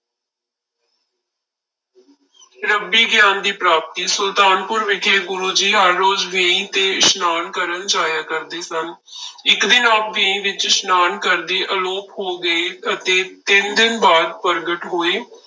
ਰੱਬੀ ਗਿਆਨ ਦੀ ਪ੍ਰਾਪਤੀ, ਸੁਲਤਾਨਪੁਰ ਵਿਖੇ ਗੁਰੂ ਜੀ ਹਰ ਰੋਜ਼ ਵੇਈ ਤੇ ਇਸ਼ਨਾਨ ਕਰਨ ਜਾਇਆ ਕਰਦੇ ਸਨ ਇੱਕ ਦਿਨ ਆਪ ਵੇਈ ਵਿੱਚ ਇਸ਼ਨਾਨ ਕਰਦੇ ਆਲੋਪ ਹੋ ਗਏ ਅਤੇ ਤਿੰਨ ਦਿਨ ਬਾਅਦ ਪ੍ਰਗਟ ਹੋਏ।